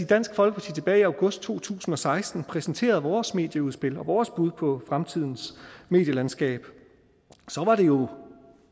dansk folkeparti tilbage i august to tusind og seksten præsenterede vores medieudspil og vores bud på fremtidens medielandskab var det jo